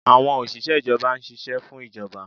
Awọn oṣiṣẹ ijọba n ṣiṣẹ fun ijọba